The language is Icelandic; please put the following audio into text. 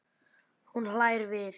Hún hlær við.